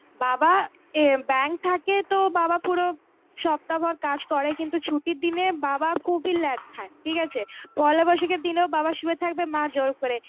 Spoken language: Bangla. বাবা এ ব্যাঙ্ক থাকে তো বাবা পুরো সপ্তাহভর কাজ করে কিন্তু ছুটির দিনে বাবা খুবই ল্যাধ খায়. ঠিকআছে, পয়লা বৈশাখের দিনও বাবা শুয়ে থাকবে মা জোর করে